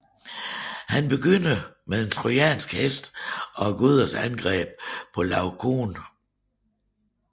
Han begynder med den trojanske hest og gudernes angreb på Laokoon